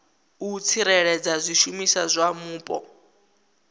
u tsireledza zwishumiswa zwa mupo